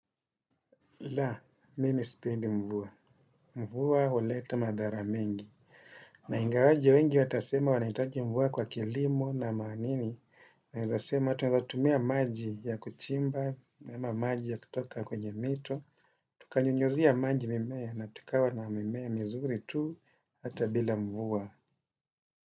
La, mimi spendi mvua. Mvua huleta madhara mingi. Na ingawaje wengi watasema wanaitaji mvua kwa kilimo na maanini. Naezasema, tuaweza tumia maji ya kuchimba, ama maji ya kutoka kwenye mito. Tukanyunyuzia maji mimea na tukawa na mimea mizuri tu ata bila mvua.